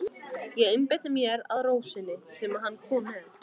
Ég einbeiti mér að rósinni sem hann kom með.